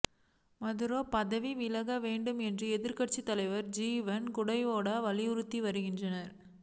Maduro பதவி விலக வேண்டும் என்று எதிர்க்கட்சித் தலைவர் ஜுவான் குவைடோ வலியுறுத்தி வருகிறார்